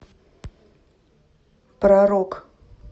про рок